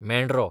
मेंढरो